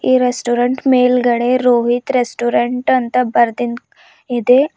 ಈ ರೆಸ್ಟೋರೆಂಟ್ ಮೇಲ್ಗಡೆ ರೋಹಿತ್ ರೆಸ್ಟೋರೆಂಟ್ ಅಂತ ಬರ್ದಿನ್ದ ಇದೆ.